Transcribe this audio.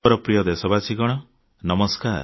ମୋର ପ୍ରିୟ ଦେଶବାସୀଗଣ ନମସ୍କାର